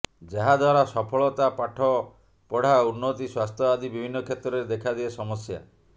ଯାହାଦ୍ୱାରା ସଫଳତା ପାଠପଢା ଉନ୍ନତି ସ୍ୱାସ୍ଥ୍ୟ ଆଦି ବିଭିନ୍ନ କ୍ଷେତ୍ରରେ ଦେଖାଦିଏ ସମସ୍ୟା